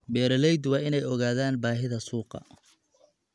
Beeraleydu waa inay ogaadaan baahida suuqa.